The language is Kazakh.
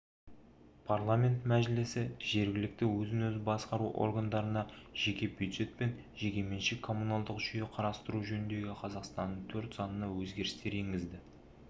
парламенті мәжілісі жергілікті өзін-өзі басқару органдарына жеке бюджет пен жекеменшік коммуналдық жүйе қарастыру жөніндегі қазақстанның төрт заңына өзгерістер енгізу туралы заң